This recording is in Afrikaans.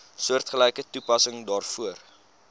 soortgelyke toepassing daarvoor